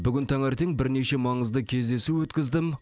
бүгін таңертең бірнеше маңызды кездесу өткіздім